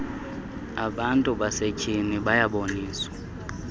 abantu basetyhini bayaboniswa